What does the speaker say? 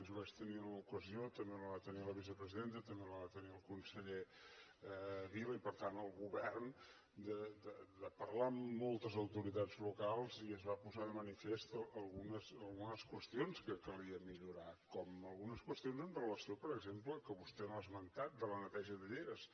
jo vaig tenir l’ocasió també la va tenir la vicepresidenta també la va tenir el conseller vila i per tant el govern de parlar amb moltes autoritats locals i es van posar de manifest algunes qüestions que calia millorar com algunes qüestions amb relació per exemple que no vostè no ha esmentat a la neteja de lleres